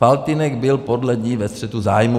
Faltýnek byl podle ní ve střetu zájmů."